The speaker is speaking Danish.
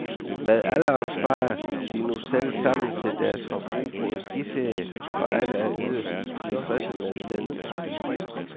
Med alderen sparer de nu selv sammen til deres forbrug på en skiferie, og alle er yderst tilfredse med den ordning.